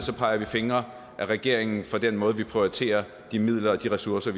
peger fingre af regeringen for den måde vi prioriterer de midler og ressourcer